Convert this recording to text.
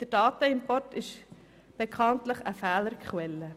Der Datenimport ist bekanntlich eine Fehlerquelle.